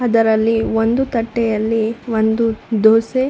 ಅದರಲ್ಲಿ ಒಂದು ತಟ್ಟೆಯಲ್ಲಿ ಒಂದು ದೋಸೆ--